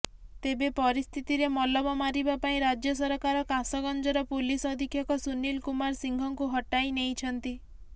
ତେବେ ପରିସ୍ଥିତିରେ ମଲମ ମାରିବା ପାଇଁ ରାଜ୍ୟ ସରକାର କାସଗଞ୍ଜର ପୁଲିସ ଅଧୀକ୍ଷକ ସୁନୀଲ୍ କୁମାର ସିଂହଙ୍କୁ ହଟାଇନେଇଛନ୍ତି